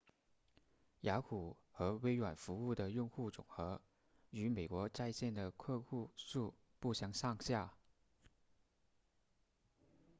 雅虎和微软服务的用户总和与美国在线的客户数不相上下